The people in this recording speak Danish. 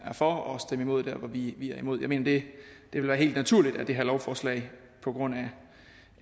for og stemme imod der hvor vi er imod jeg mener det vil være helt naturligt at det her lovforslag på grund